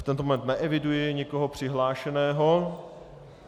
V tento moment neeviduji nikoho přihlášeného.